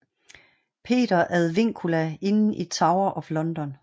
Peter ad Vincula inden i Tower of London